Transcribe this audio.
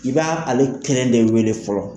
I b'a ale kelen de wele fɔlɔ